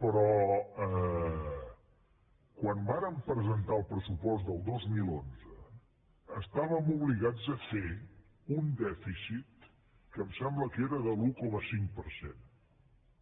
però quan vàrem presentar el pressupost del dos mil onze estàvem obligats a fer un dèficit que em sembla que era de l’un coma cinc per cent